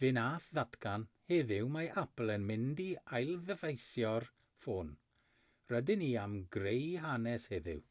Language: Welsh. fe wnaeth ddatgan heddiw mae apple yn mynd i ailddyfeisio'r ffôn rydyn ni am greu hanes heddiw